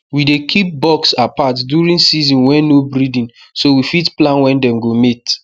we dey keep bucks apart during season wey no breeding so we fit plan when dem go mate